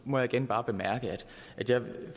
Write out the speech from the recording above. må jeg igen bare bemærke at jeg godt